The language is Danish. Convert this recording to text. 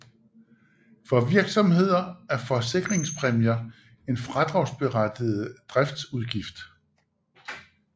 For virksomheder er forsikringspræmier en fradragsberettiget driftsudgift